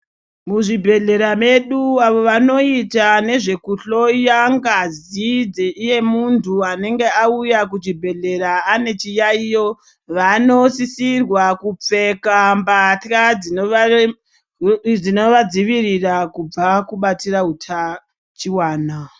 Muzvibhehlera medu avo vanoita nezvekuhloya ngazi yemuntu anenge auya kuchibhehlera ane chiyaiyo vanosisirwa kupfeka mbatya dzinovadzivirira kubva kubatira hutachiwana.